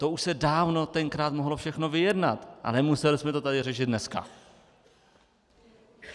To už se dávno tenkrát mohlo všechno vyjednat a nemuseli jsme to tady řešit dneska.